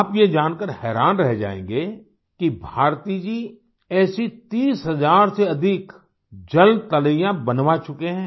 आप ये जानकर हैरान रह जायेंगे कि भारती जी ऐसी 30 हजार से अधिक जलतलैया बनवा चुके हैं